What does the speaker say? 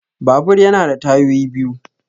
Babur ya na da tayoyi biyu